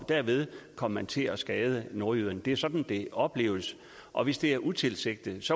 derved kom man til at skade nordjyderne det er sådan det opleves og hvis det er utilsigtet